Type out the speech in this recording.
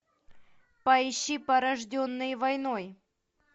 поищи порожденный войной